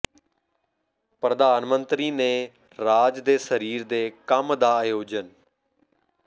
ਪ੍ਰਧਾਨ ਮੰਤਰੀ ਨੇ ਰਾਜ ਦੇ ਸਰੀਰ ਦੇ ਕੰਮ ਦਾ ਆਯੋਜਨ